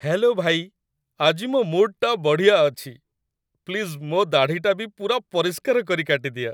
Hello, ଭାଇ । ଆଜି ମୋ' ମୁଡ୍‌ଟା ବଢ଼ିଆ ଅଛି । ପ୍ଲିଜ୍ ମୋ' ଦାଢ଼ିଟା ବି ପୂରା ପରିଷ୍କାର କରି କାଟିଦିଅ ।